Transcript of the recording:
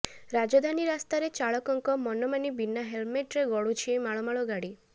ରାଜଧାନୀ ରାସ୍ତାରେ ଚାଳକଙ୍କ ମନମାନି ବିନା ହେଲ୍ମେଟ୍ରେ ଗଡୁଛି ମାଳମାଳ ଗାଡ଼ି